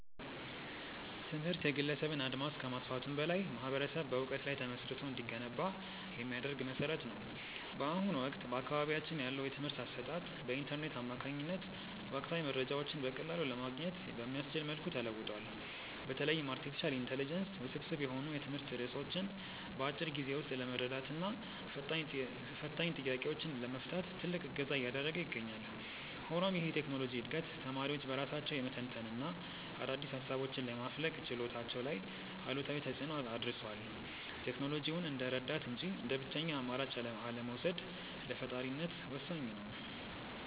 ትምህርት የግለሰብን አድማስ ከማስፋቱም በላይ ማኅበረሰብ በዕውቀት ላይ ተመስርቶ እንዲገነባ የሚያደርግ መሠረት ነው። በአሁኑ ወቅት በአካባቢያችን ያለው የትምህርት አሰጣጥ በኢንተርኔት አማካኝነት ወቅታዊ መረጃዎችን በቀላሉ ለማግኘት በሚያስችል መልኩ ተለውጧል። በተለይም አርቲፊሻል ኢንተለጀንስ ውስብስብ የሆኑ የትምህርት ርዕሶችን በአጭር ጊዜ ውስጥ ለመረዳትና ፈታኝ ጥያቄዎችን ለመፍታት ትልቅ እገዛ እያደረገ ይገኛል። ሆኖም ይህ የቴክኖሎጂ ዕድገት ተማሪዎች በራሳቸው የመተንተንና አዳዲስ ሃሳቦችን የማፍለቅ ችሎታቸው ላይ አሉታዊ ተፅእኖ አድርሷል። ቴክኖሎጂውን እንደ ረዳት እንጂ እንደ ብቸኛ አማራጭ አለመውሰድ ለፈጣሪነት ወሳኝ ነው።